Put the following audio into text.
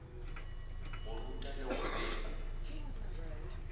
go ruta le go bega